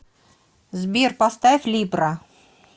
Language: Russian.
сбер поставь либра